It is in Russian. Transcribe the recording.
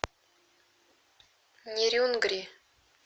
нерюнгри